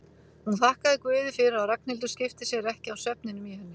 Hún þakkaði guði fyrir að Ragnhildur skipti sér ekki af svefninum í henni.